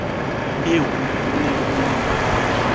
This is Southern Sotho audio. eo ho ne ho le